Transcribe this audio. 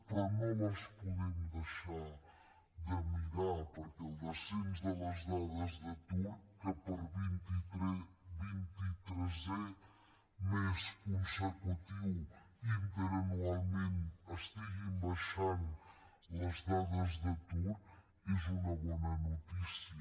però no les podem deixar de mirar perquè el descens de les dades d’atur que per vint i tresè mes consecutiu interanualment estiguin baixant les dades d’atur és una bona notícia